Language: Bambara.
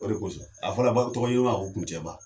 O de kosɔn a fɔra ba tɔgɔɲinina ma ko kuncɛ ba.